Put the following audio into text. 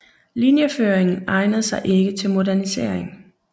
Linjeføringen egnede sig ikke til modernisering